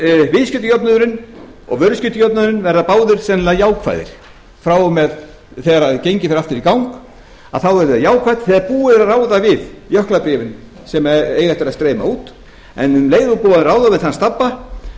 viðskiptajöfnuðurinn og vöruskiptajöfnuðurinn verða báðir sennilega jákvæðir frá og með þegar gengið fer aftur í gang verður það jákvætt þegar búið er að ráða við jöklabréfin sem eiga eftir að gleyma út en um leið og búið er að ráða við þann stabba